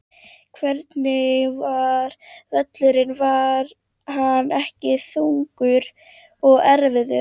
Hvernig var völlurinn var hann ekki þungur og erfiður?